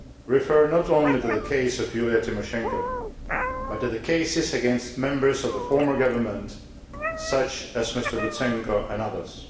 refer not only to the case of Yulia Tymoshenko, but also to cases against members of the former government such as Mr Lutsenko and others.